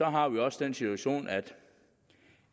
har vi også den situation at vi